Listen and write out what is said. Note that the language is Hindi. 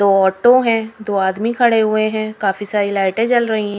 दो ऑटो है दो आदमी खड़े हुए हैं काफी सारी लाइटे जल रही--